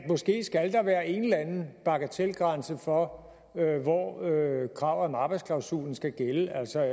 måske skal være en eller anden bagatelgrænse for hvor kravet om arbejdsklausulen skal gælde altså